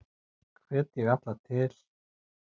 Hvet ég alla til